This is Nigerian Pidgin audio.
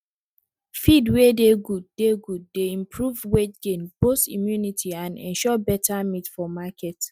feed wey dey good dey good dey improve weight gain boost immunity and ensure better meat for market